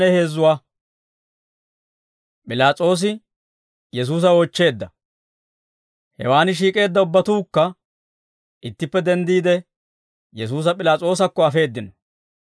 Hewaan shiik'eedda ubbatuukka ittippe denddiide, Yesuusa P'ilaas'oosakko afeeddino.